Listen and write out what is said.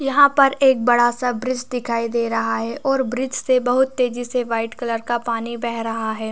यहाँ पर एक बड़ा- सा ब्रिज दिखाई दे रहा है और ब्रिज से बहुत तेजी से वाइट कलर का पानी बह रहा है ।